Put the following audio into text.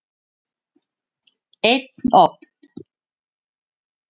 Einn ofn.